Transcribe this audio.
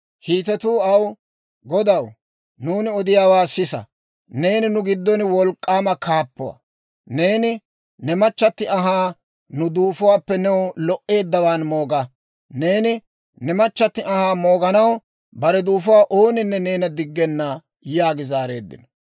Hiitetuu aw, «Godaw, nuuni odiyaawaa sisa; neeni nu giddon wolk'k'aama kaappuwaa; neeni ne machchatti anhaa nu duufuwaappe new lo"eeddawaan mooga; neeni ne machchatti anhaa mooganaw bare duufuwaa ooninne neena diggenna» yaagi zaareeddino.